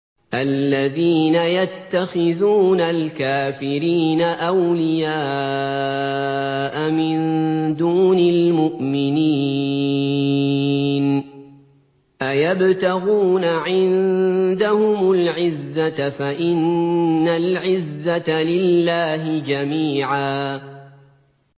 الَّذِينَ يَتَّخِذُونَ الْكَافِرِينَ أَوْلِيَاءَ مِن دُونِ الْمُؤْمِنِينَ ۚ أَيَبْتَغُونَ عِندَهُمُ الْعِزَّةَ فَإِنَّ الْعِزَّةَ لِلَّهِ جَمِيعًا